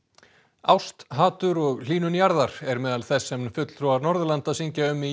ást hatur og hlýnun jarðar er meðal þess sem fulltrúar Norðurlanda syngja um í